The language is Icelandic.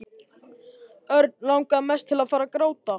Örn langaði mest til að fara að gráta.